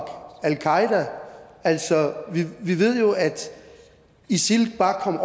al qaeda altså vi ved jo at isil bare kom